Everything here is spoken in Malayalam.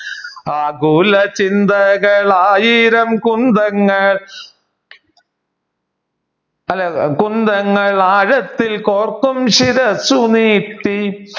ആകുല ചിന്തകൾ ആയിരം കുന്തങ്ങൾ കുന്തങ്ങൾ ആഴത്തിൽ കോർക്കും ശിരസ്സു നീട്ടി